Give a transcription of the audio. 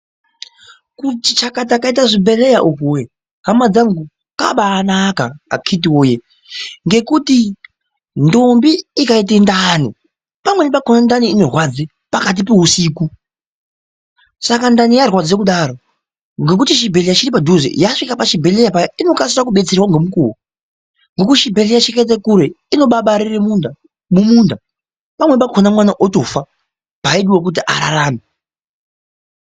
Kuti chakata kwaita zvibhedhleya uku wee, hama dzangu kwabaanaka akhiti woye ngekuti ndombi ikaite ndani pamweni pakhona ndani inorwadze pakati peusiku saka ndani yarwadze kudaro ngekuti chibhlera chiri padhuze yasvika pachibhedhlera paya inokasika kubatsirwa ngemukuwo ngekuti chibhudhleya ngokuti chibhudhleya chikaite kure inobabarire munda mumunda pamweni pakhona mwana otofa paaidiwe kuti ararame.